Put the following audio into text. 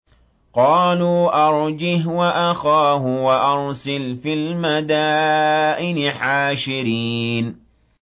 قَالُوا أَرْجِهْ وَأَخَاهُ وَأَرْسِلْ فِي الْمَدَائِنِ حَاشِرِينَ